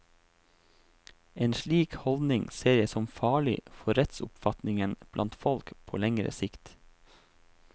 En slik holdning ser jeg som farlig for rettsoppfatningen blant folk på lengre sikt.